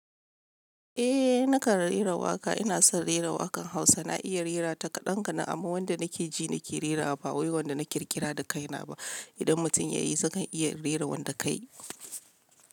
Eh nakan rera waƙa, ina son rera waƙan Hausa. Na iya rera ta kaɗan kaɗan amma wanda nake ji nake rerawa ba wai wanda na ƙirƙira da kaina ba. Idan mutum ya yi, zakan iya rera wanda kayi.